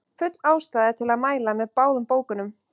Full ástæða er til að mæla með báðum bókunum.